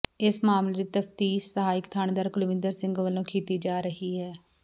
ਇਸ ਮਾਮਲੇ ਦੀ ਤਫਤੀਸ਼ ਸਹਾਇਕ ਥਾਣੇਦਾਰ ਕੁਲਵਿੰਦਰ ਸਿੰਘ ਵੱਲੋਂ ਕੀਤੀ ਜਾ ਰਹੀ ਹੈ